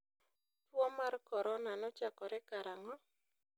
Tuo mar corona nochakore karang'o?